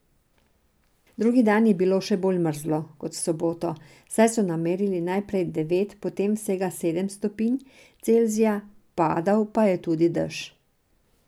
Drugi dan je bilo še bolj mrzlo, kot v soboto, saj so namerili najprej devet, potem vsega sedem stopinj Celzija, padal pa je tudi dež.